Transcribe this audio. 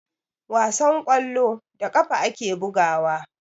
Wasan kwallo, da ƙafa ake bugawa.